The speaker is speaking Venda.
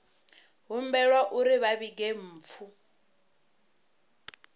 humbelwa uri vha vhige mpfu